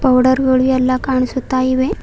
Powder ಗಳು ಎಲ್ಲ ಕಾಣಿಸುತ್ತಾ ಇವೆ.